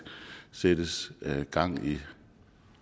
sættes gang i